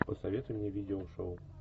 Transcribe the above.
посоветуй мне видеошоу